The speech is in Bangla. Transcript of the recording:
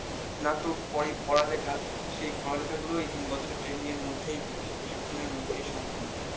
স্নাতক পড়ে পড়ালেখা সেই পড়ালেখাগুলো এই তিন বছর training এর মধ্যেই হয়ে যায় প্রশিক্ষণের মতই সম্পূর্ন